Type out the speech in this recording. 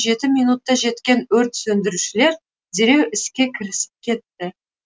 жеті минутта жеткен өрт сөндірушілер дереу іске кірісіп кетті